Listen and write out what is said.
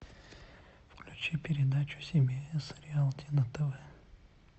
включи передачу си би эс реалти на тв